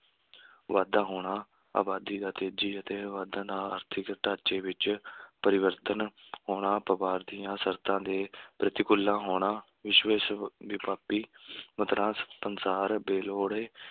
ਵਾਧਾ ਹੋਣਾ, ਆਬਾਦੀ ਦਾ ਤੇਜ਼ੀ ਅਤੇ ਵਾਧੇ ਨਾਲ ਆਰਥਿਕ ਢਾਂਚੇ ਵਿੱਚ ਪਰਿਵਰਤਨ ਹੋਣਾ, ਵਪਾਰ ਦੀਆਂ ਸ਼ਰਤਾਂ ਦੇ ਪ੍ਰਤੀਕੂਲ ਨਾ ਹੋਣਾ, ਵਿਸ਼~ ਵਿਸ਼ਵ ਵਿਆਪੀ ਮੁਦਰਾ ਪਸਾਰ, ਬੇਲੋੜੇ,